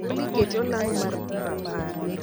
olly ket olang mar rapar